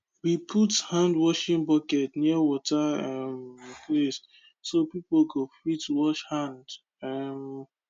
we put handwashing bucket near water um place so people go fit wash hand um